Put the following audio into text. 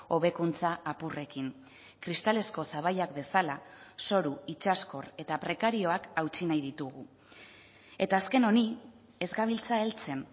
hobekuntza apurrekin kristalezko sabaiak bezala zoru itsaskor eta prekarioak hautsi nahi ditugu eta azken honi ez gabiltza heltzen